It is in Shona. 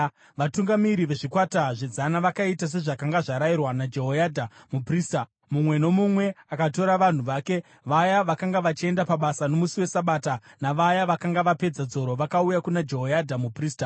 Vatungamiri vezvikwata zvezana vakaita sezvakanga zvarayirwa naJehoyadha muprista. Mumwe nomumwe akatora vanhu vake, vaya vakanga vachienda pabasa nomusi weSabata navaya vakanga vapedza dzoro vakauya kuna Jehoyadha muprista.